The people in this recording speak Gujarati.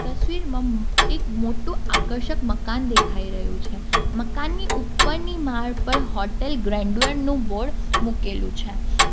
તસવીરમાં એક મોટુ આકર્ષક મકાન દેખાઈ રહ્યું છે મકાનની ઉપરની માળ પર હોટલ ગ્રેન્ડયર નું બોર્ડ મૂકેલું છે.